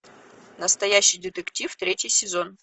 настоящий детектив третий сезон